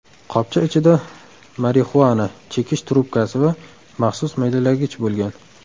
Qopcha ichida marixuana, chekish trubkasi va maxsus maydalagich bo‘lgan.